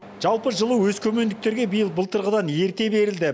жалпы жылу өскемендіктерге биыл былтырғыдан ерте берілді